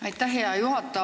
Aitäh, hea juhataja!